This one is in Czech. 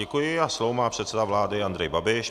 Děkuji a slovo má předseda vlády Andrej Babiš.